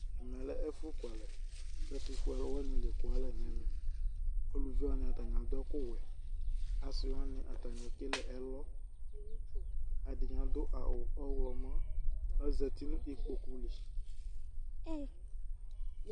ɛmɛlɛ ɛƒʋ kʋalɛ ɛtʋƒʋɛ alɔ wani ɛkʋ alɛ nʋ ɛmɛ, alʋvi wani atani adʋ ɛkʋ wɛ, asii wani atani ɛkɛlɛ ɛlɔ, ɛdini adʋ awʋ ɔwlɔmɔ kʋ azati nʋ ikpɔkʋ li